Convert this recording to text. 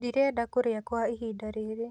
Ndirenda kũrĩa kwa ihinda rĩrĩ